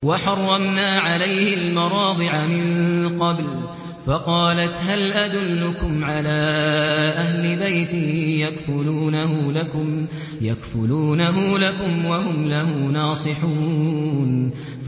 ۞ وَحَرَّمْنَا عَلَيْهِ الْمَرَاضِعَ مِن قَبْلُ فَقَالَتْ هَلْ أَدُلُّكُمْ عَلَىٰ أَهْلِ بَيْتٍ يَكْفُلُونَهُ لَكُمْ وَهُمْ لَهُ نَاصِحُونَ